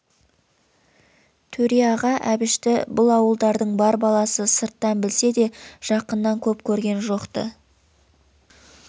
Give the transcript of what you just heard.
төре аға әбшті бұл ауылдардың бар баласы сырттан білсе де жақыннан көп көрген жоқ-ты